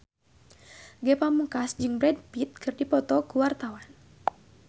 Ge Pamungkas jeung Brad Pitt keur dipoto ku wartawan